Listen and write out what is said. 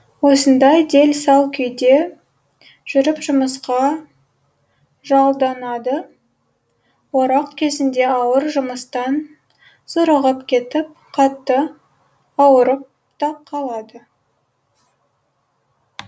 осындай делсал күйде жүріп жұмысқа жалданады орақ кезінде ауыр жұмыстан зорығып кетіп қатты ауырып та қалады